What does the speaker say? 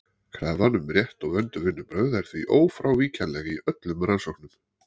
Krafan um rétt og vönduð vinnubrögð er því ófrávíkjanleg í öllum rannsóknum.